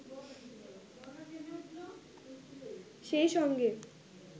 সেই সঙ্গে